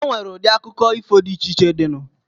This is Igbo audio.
Enwere udi akụkọ ifo di iche iche dị nu.